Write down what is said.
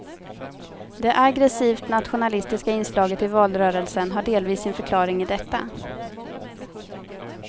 Det aggressivt nationalistiska inslaget i valrörelsen har delvis sin förklaring i detta.